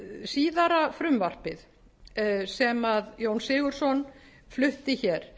síðara frumvarpið sem jón sigurðsson flutti hér